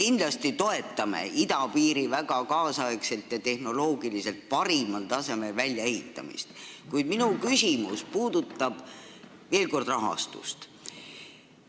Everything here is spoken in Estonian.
Me kindlasti toetame idapiiri väga ajakohasel ja tehnoloogiliselt parimal tasemel väljaehitamist, kuid minu küsimus puudutab veel kord rahastust.